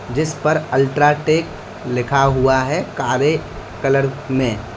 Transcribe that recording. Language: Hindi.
जिस पर अल्ट्राटेक लिखा हुआ है कारे कलर में।